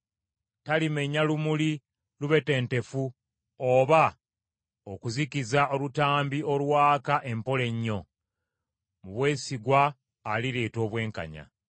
Talimenya lumuli lubetentefu oba okuzikiza olutambi olwaka empola ennyo; mu bwesigwa alireeta obwenkanya.